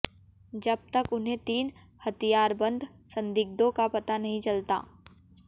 जब तक उन्हें तीन हथियारबंद संदिग्धों का पता नहीं चलता